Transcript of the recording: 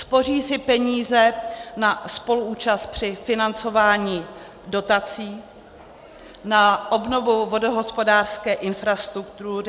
Spoří si peníze na spoluúčast při financování dotací, na obnovu vodohospodářské infrastruktury.